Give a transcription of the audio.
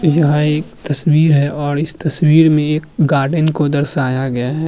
यह एक तस्वीर है और इस तस्वीर में एक गार्डेन को दर्शाया गया है।